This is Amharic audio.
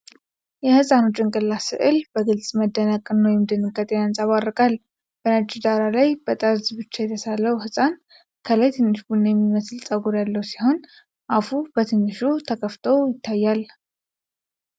የህፃኑ ጭንቅላት ስዕል በግልጽ መደነቅን ወይም ድንጋጤን ያንጸባርቃል። በነጭ ዳራ ላይ በጠርዝ ብቻ የተሳለው ህፃን፣ ከላይ ትንሽ ቡኒ የሚመስል ፀጉር ያለው ሲሆን፣ አፉ በትንሹ ተከፍቶ ይታያል።